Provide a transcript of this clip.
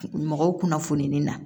Mɔgɔw kunnafoni na